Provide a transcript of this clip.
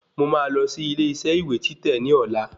Mò máa lọ sí ilé isẹ́ ìwé títẹ̀ ní ọ̀la